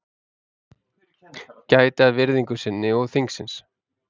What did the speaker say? Gæti að virðingu sinni og þingsins